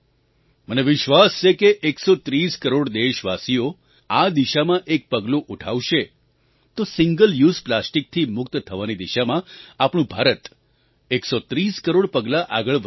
મને વિશ્વાસ છે કે 130 કરોડ દેશવાસીઓ આ દિશાં એક પગલું ઉઠાવશે તો સિંગલ યુઝ પ્લાસ્ટિકથી મુક્ત થવાની દિશામાં આપણું ભારત 130 કરોડ પગલાં આગળ વધી જશે